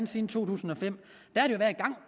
siden to tusind og fem